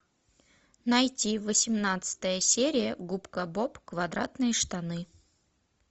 найти восемнадцатая серия губка боб квадратные штаны